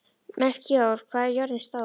Melkíor, hvað er jörðin stór?